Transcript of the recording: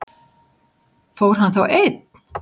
Fór hann þá einn?